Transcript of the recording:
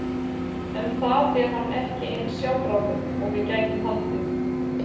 Um það er hann ekki eins sjálfráður og við gætum haldið.